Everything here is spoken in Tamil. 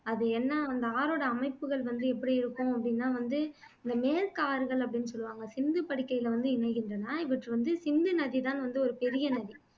அது என்ன அந்த ஆறோட அமைப்புகள் எப்படி இருக்கும் அப்படின்னா வந்து இந்த மேற்கு ஆறுகள் அப்படின்னு சொல்லுவாங்க சிந்துப்படுக்கைல வந்து இணைகின்றன இவற்றில்வந்து சிந்துநதிதான் வந்து ஒரு பெரிய நதி